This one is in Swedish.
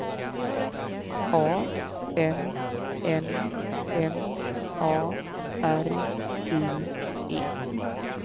A N N M A R I E